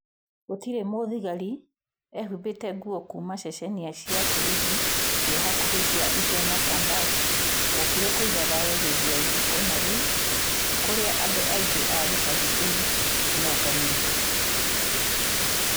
Gũtirĩ mũthigari eehumbĩte nguo kuuma ceceni cia borithi cia hakuhĩ cia Iten kana Tambach wokire kũiga thayũ hĩndĩ ya igongona rĩu kũrĩa andũ aingĩ a gĩcagi kĩu moonganĩte.